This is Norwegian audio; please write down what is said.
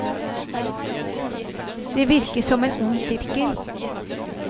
Det virker som en ond sirkel.